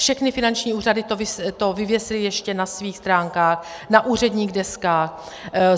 Všechny finanční úřady to vyvěsily ještě na svých stránkách, na úředních deskách.